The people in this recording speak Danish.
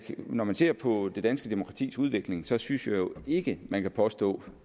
når man ser på det danske demokratis udvikling så synes jeg jo ikke man kan påstå